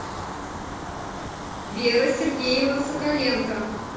вера сергеевна соколенко